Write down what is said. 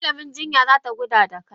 Malaman jinyan zata kula da kai.